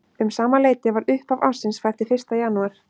Um sama leyti var upphaf ársins fært til fyrsta janúar.